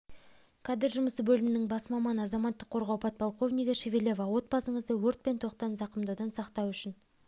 кадр жұмысы бөлімінің бас маманы азаматтық қорғау подполковнигі шевелева отбасыңызды өрт пен тоқтан зақымдаудан сақтау үшін